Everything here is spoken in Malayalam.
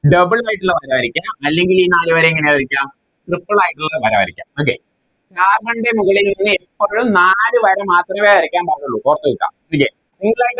Double ആയിട്ടില്ല വര വരക്കാം അല്ലെങ്കിൽ ഈ നാല് വര എങ്ങനെ വരക്കാം Triple ആയിട്ടുള്ള വര വരക്കാം okayCarbon ൻറെ മുകളിൽ എപ്പളും നാല് വര മാത്രമേ വരയ്ക്കാൻ പാടുള്ളു ഓർത്ത് വെക്കുക Okay